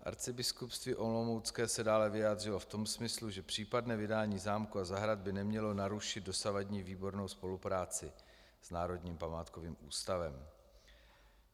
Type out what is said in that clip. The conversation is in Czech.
Arcibiskupství olomoucké se dále vyjádřilo v tom smyslu, že případné vydání zámku a zahrad by nemělo narušit dosavadní výbornou spolupráci s Národním památkovým ústavem.